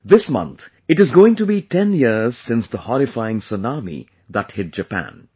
This month it is going to be 10 years since the horrifying tsunami that hit Japan